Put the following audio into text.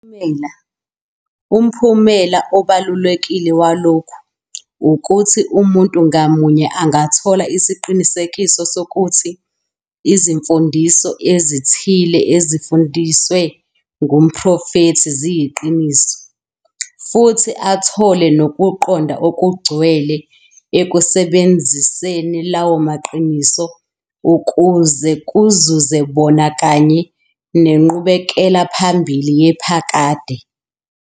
Umphumela obalulekile walokhu ukuthi umuntu ngamunye angathola isiqinisekiso sokuthi izimfundiso ezithile ezifundiswe ngumprofethi ziyiqiniso, futhi athole nokuqonda okungcwele ekusebenziseni lawo maqiniso ukuze kuzuze bona kanye nenqubekela phambili yaphakade.